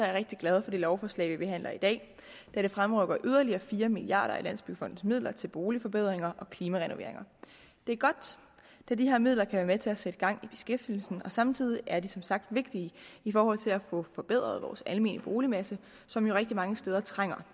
er rigtig glade for det lovforslag vi behandler i dag da det fremrykker yderligere fire milliard kroner af landsbyggefondens midler til boligforbedringer og klimarenoveringer det er godt da de her midler kan være med til at sætte gang i beskæftigelsen og samtidig er de som sagt vigtige i forhold til at få forbedret vores almene boligmasse som jo rigtig mange steder trænger